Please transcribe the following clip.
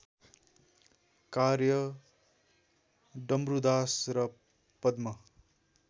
कार्य डम्रूदास र पद्म